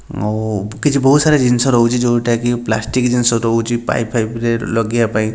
ଆଉ କିଛି ବୋହୁତ ସାରା ଜିନିଷ ରହୁଚି ଯୋଉଟା କି ପ୍ଲାଷ୍ଟିକ ଜିନିଷ ରହୁଛି ପାଇପ୍ ଫାଇପ୍ ରେ ଲଗେଇବା ପାଇଁ।